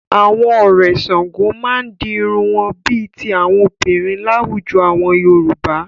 Àwọn a Ọ̀rẹ̀ Ṣàngó máa ń di irun wọn bí i ti àwọn obìnrin láwùjọ àwọn Yorùbá.